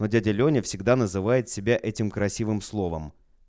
но дядя лёня всегда называет себя этим красивым словом